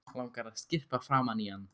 Langar að skyrpa framan í hann.